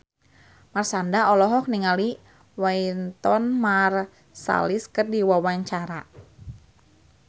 Marshanda olohok ningali Wynton Marsalis keur diwawancara